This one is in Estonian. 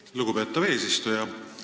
Aitäh, lugupeetav eesistuja!